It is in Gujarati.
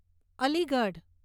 અલીગઢ